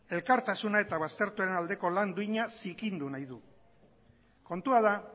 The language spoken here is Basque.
elkartasuna eta baztertuen aldeko lan duina zikindu nahi du kontua da